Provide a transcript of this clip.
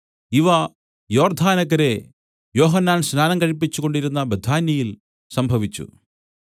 ഇവ യോർദ്ദാനക്കരെ യോഹന്നാൻ സ്നാനം കഴിപ്പിച്ചുകൊണ്ടിരുന്ന ബെഥാന്യയിൽ സംഭവിച്ചു